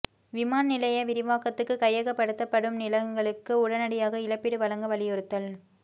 விமான நிலைய விரிவாக்கத்துக்கு கையகப்படுத்தப்படும் நிலங்களுக்கு உடனடியாக இழப்பீடு வழங்க வலியுறுத்தல்